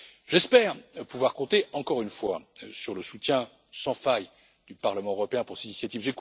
tard. J'espère pouvoir compter encore une fois sur le soutien sans faille du Parlement européen pour cette initiative.